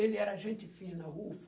Ele era gente fina,